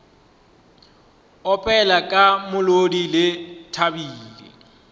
opela ka molodi ke thabile